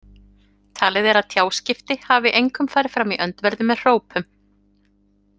Talið er að tjáskipti hafi einkum farið fram í öndverðu með hrópum.